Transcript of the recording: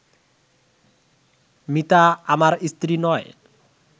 মিতা আমার স্ত্রী নয়